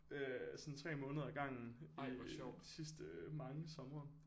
Øh sådan 3 måneder ad gangen i de sidste mange somre